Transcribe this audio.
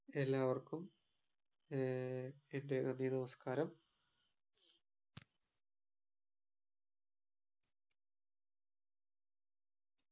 എല്ലാവർക്കും ഏർ എന്റെ നന്ദി നമസ്കാരം